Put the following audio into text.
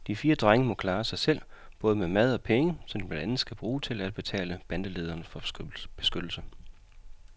De fire drenge må klare sig selv, både med mad og penge, som de blandt andet skal bruge til at betale bandelederen for beskyttelse.